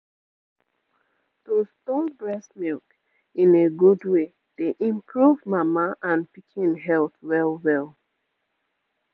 to store breast milk in a good way dey improve mama and pikin health well-well